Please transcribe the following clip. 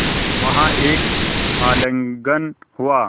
वहाँ एक आलिंगन हुआ